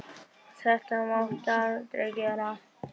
Þetta máttu aldrei gera.